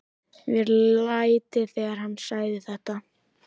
Mér létti þegar hann sagði þetta.